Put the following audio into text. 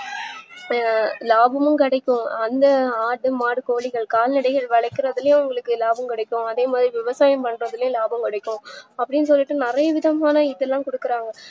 லாபமும் கிடைக்கும் அந்த ஆடு மாடு கோழி கால்நடைகள் வளக்குரதுல உங்களுக்கு லாபம் கிடைக்கும் அதேமாறி விவசாயம் பண்றதுல லாபம் கிடைக்கும் அப்டின்னு சொல்லிட்டு நறைய விதமான இதுல குடுக்குறாங்க